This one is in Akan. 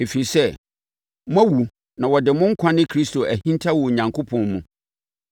Ɛfiri sɛ, moawu na wɔde mo nkwa ne Kristo ahinta wɔ Onyankopɔn mu.